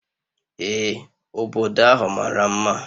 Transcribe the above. Ee, obodo ahụ mara mma